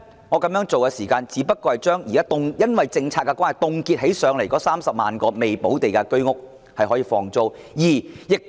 我提出這個做法的原因，第一，只是令因政策而被凍結的30萬個未補地價居屋單位可以出租。